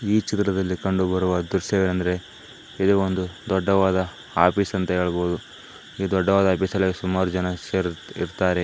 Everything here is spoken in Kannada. ಈ ಚಿತ್ರದಲ್ಲಿ ಕಂಡುಬರುವ ದೃಶ್ಯ ಎಂದರೆ ಇದು ಒಂದು ದೊಡ್ಡದಾದ ಆಫೀಸ್ ಎಂದು ಹೇಳಬಹುದು ಈ ದೊಡ್ಡದಾದ ಆಫೀಸಿನಲ್ಲಿ ಸುಮಾರು ಜನ ಇರುತ್ತಾರೆ.